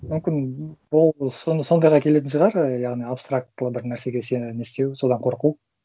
мүмкін сондайға келетін шығар і яғни абстрактылы бір нәрсеге сену не істеу содан қорқу